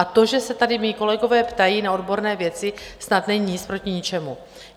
A to, že se tady mí kolegové ptají na odborné věci, snad není nic proti ničemu.